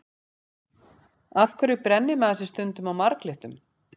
Af hverju brennir maður sig stundum á marglyttum?